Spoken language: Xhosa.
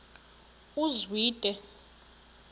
uzwide